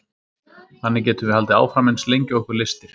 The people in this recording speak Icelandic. þannig getum við haldið áfram eins lengi og okkur lystir